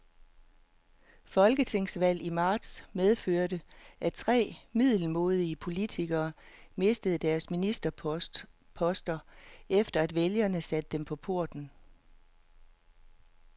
Folketingsvalget i marts medførte, at tre middelmådige politikere mistede deres ministerposter, efter at vælgerne satte dem på porten.